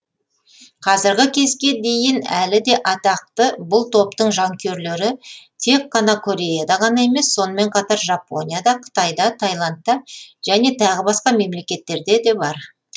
қазіргі кезге дейін әлі де атақты бұл топтың жанкүйерлері тек қана кореяда ғана емес сонымен қатар жапонияда қытайда тайландта және тағы басқа мемлекеттерде де бар